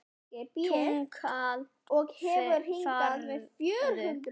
Túkall færðu!